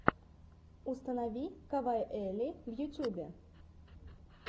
установи кавайэлли в ютубе